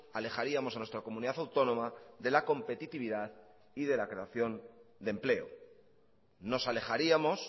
alejaríamos a nuestra comunidad autónoma de la competitividad y de la creación de empleo nos alejaríamos